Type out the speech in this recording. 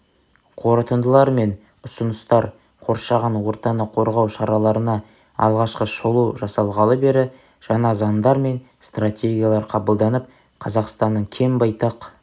қорытындылар мен ұсыныстар қоршаған ортаны қорғау шараларына алғашқы шолу жасалғалы бері жаңа заңдар мен стратегиялар қабылданып қазақстанның кең байтақ